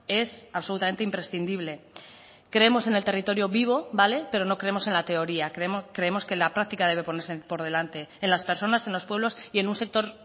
es absolutamente imprescindible creemos en el territorio vivo vale pero no creemos en la teoría creemos que la practica debe ponerse por delante en las personas en los pueblos y en un sector